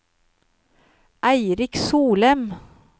Eirik Solem